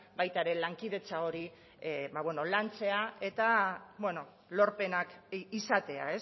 baita ere lankidetza hori ba beno lantzea eta lorpenak izatea